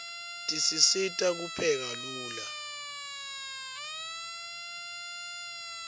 tisisita kupheka lula